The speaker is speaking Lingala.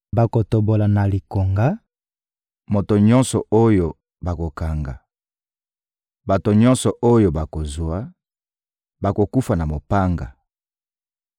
Bakotobola na likonga moto nyonso oyo bakokanga. Bato nyonso oyo bakozwa, bakokufa na mopanga.